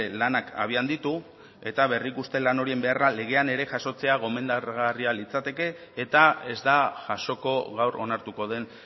lanak abian ditu eta berrikuste lan horien beharra legean ere jasotzea gomendagarria litzateke eta ez da jasoko gaur onartuko den